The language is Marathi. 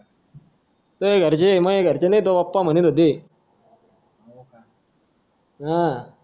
तुझ्या घरचे मां घरचे तेव्हा लई म्हणत होते अं